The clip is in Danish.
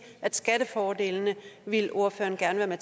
at skattefordelene ville ordføreren gerne